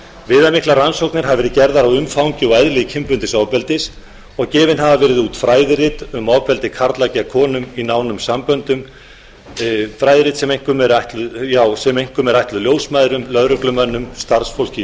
viðamiklar rannsóknir hafa verið gerðar á umfangi og eðli kynbundins ofbeldis og gefin hafa verið út fræðirit um ofbeldi karla gegn konum í nánum samböndum fræðiritum sem einkum eru ætluð ljósmæðrum lögreglumönnum og starfsfólki í